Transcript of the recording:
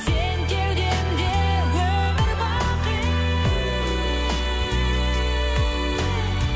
сен кеудемде өмір бақи